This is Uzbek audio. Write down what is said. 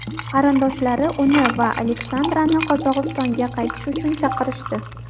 Qarindoshlari uni va Aleksandrani Qozog‘istonga qaytish uchun chaqirishdi.